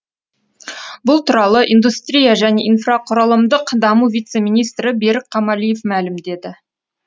бұл туралы индустрия және инфрақұрылымдық даму вице министрі берік қамалиев мәлімдеді